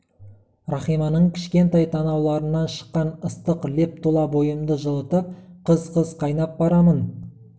рахиманың кішкентай танауларынан шыққан ыстық леп тұла бойымды жылытып қыз-қыз қайнап барамын